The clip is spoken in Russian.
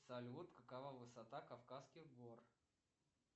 салют какова высота кавказских гор